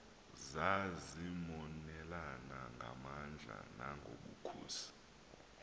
zazimonelana ngamandla nangobukhosi